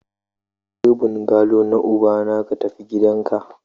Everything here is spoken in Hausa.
Ka bar bungalow na ubana ka tafi gidanka!